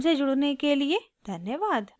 हमसे जुड़ने के लिए धन्यवाद